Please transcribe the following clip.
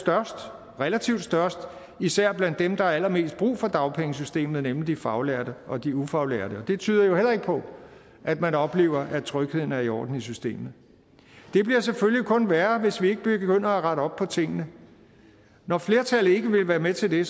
relativt størst især blandt dem der har allermest brug for dagpengesystemet nemlig de faglærte og de ufaglærte og det tyder jo heller ikke på at man oplever at trygheden er i orden i systemet det bliver selvfølgelig kun værre hvis vi ikke begynder at rette op på tingene når flertallet ikke vil være med til det